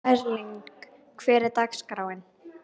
Erling, hvernig er dagskráin?